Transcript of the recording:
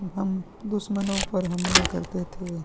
हम दुश्मनों पर हमला करते थे।